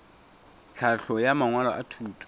tlhahlo ya mangwalo a thuto